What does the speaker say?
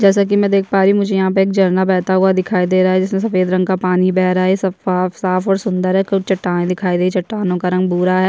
जैसा की मै देख पा रही हु मुझे यहाँ पर एक झरना बेहता हुआ दिखाई दे रहा है जिस में से सफ़ेद रंग का पानी बेह रहा है सब साफ और सुंदर है कुछ चट्टान दिखाई दे रहे है चट्टानों का रंग भूरा है।